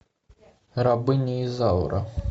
рабыня изаура